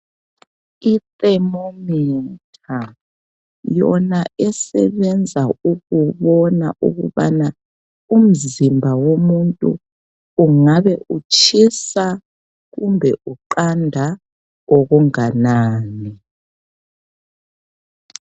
I"Thermometer" yona esebenza ukubona ukubana umzimba womuntu kungabe utshisa kumbe uqanda okunganani.